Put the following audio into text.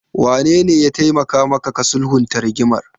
Wanene ya taimaka maka ka sulhunta rigimar?